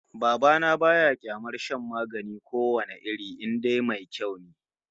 Baba na ba ya kyamar shan magani ko wane iri in dai mai kyau ne